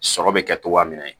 Sɔrɔ bɛ kɛ togoya min na